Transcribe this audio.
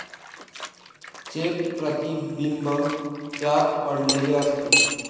चे प्रतिबिंब त्यात पडलेले असते.